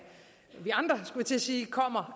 til at sige kommer